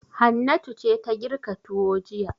Hannatu ce ta girka tuwo jiya.